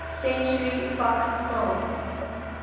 century fox films